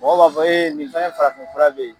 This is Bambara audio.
Mɔgɔw b'a fɔ nin fana farafin fura bɛ yen?